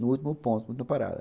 no último ponto do parada